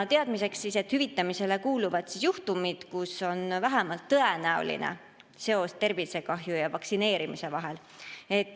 Teadmiseks, et hüvitamisele kuuluvad juhtumid, kui on vähemalt tõenäoline seos tervisekahju ja vaktsineerimise vahel.